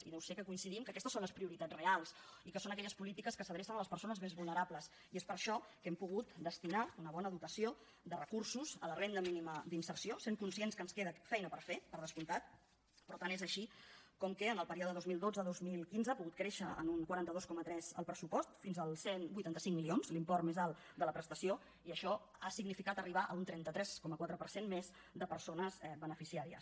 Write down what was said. i deu ser que coincidim que aquestes són les prioritats reals i que són aquelles polítiques que s’adrecen a les persones més vulnerables i és per això que hem pogut destinar una bona dotació de recursos a la renda mínima d’inserció sent conscients que ens queda feina per fer per descomptat però tant és així com que en el període dos mil dotze dos mil quinze ha pogut créixer en un quaranta dos coma tres el pressupost fins als cent i vuitanta cinc milions l’import més alt de la prestació i això ha significat arribar a un trenta tres coma quatre per cent més de persones beneficiàries